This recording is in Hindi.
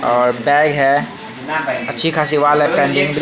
और बैग है अच्छी खासी वॉल है पेंटिंग की--